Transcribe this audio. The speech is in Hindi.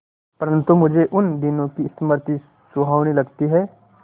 परंतु मुझे उन दिनों की स्मृति सुहावनी लगती है